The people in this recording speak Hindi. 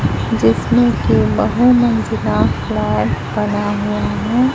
जिसमें की बहु मंजिला फ्लैट बना हुआ है।